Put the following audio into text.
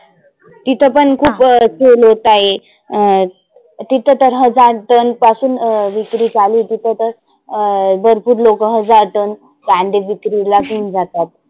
इथ पण खुप sell होत आहे. अं तीथंं तर हजार टन पासून अं विक्री चालु तिथं तर. अं भरपुर लोक हजार tone कांदे विक्रिला घेऊन जातात.